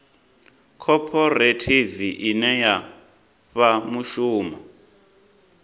khophorethivi ine ya fha mushumo